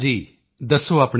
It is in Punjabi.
ਦੱਸੋ ਆਪਣੇ ਬਾਰੇ ਵਿੱਚ